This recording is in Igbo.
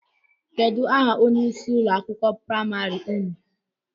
Kedụ aha onye ịsị ụlọ akwụkwọ praịmarị ụnụ?